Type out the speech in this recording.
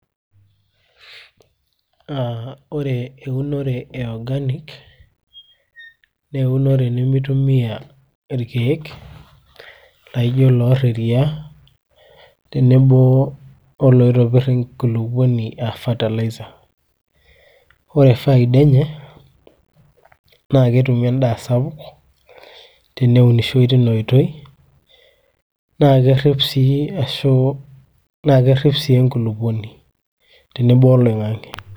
aa ore eunore e organic naa eunore nemitumia irkeek laijo loorr eriaa tenebo oloitopirr enkulupuoni aa fertilizer ore faida enye naa ketumi endaa sapouk teneunishoi tina oitoi naa kerrip sii enkulupuoni tenebo ooloing'ang'e.